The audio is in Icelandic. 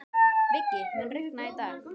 Viggi, mun rigna í dag?